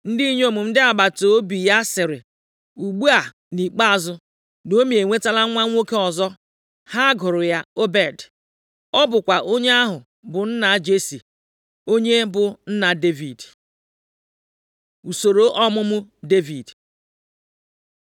Ndị inyom ndị agbataobi ya sịrị, “Ugbu a, nʼikpeazụ, Naomi enwetala nwa nwoke ọzọ!” Ha gụrụ ya Obed. Ọ bụkwa onye ahụ bụ nna Jesi, onye bụ nna Devid. Usoro ọmụmụ Devid